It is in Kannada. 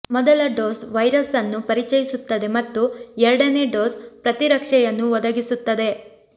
ಮೊದಲ ಡೋಸ್ ವೈರಸ್ ಅನ್ನು ಪರಿಚಯಿಸುತ್ತದೆ ಮತ್ತು ಎರಡನೇ ಡೋಸ್ ಪ್ರತಿರಕ್ಷೆಯನ್ನು ಒದಗಿಸುತ್ತದೆ